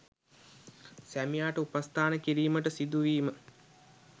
සැමියාට උපස්ථාන කිරීමට සිදුවීම